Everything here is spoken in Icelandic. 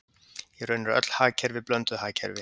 Í raun eru öll hagkerfi blönduð hagkerfi.